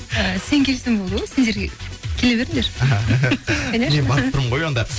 і сен келсең болды ғой сендер келе беріңдер мен барып тұрмын ғой онда